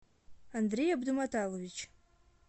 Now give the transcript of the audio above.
андрей абдуматалович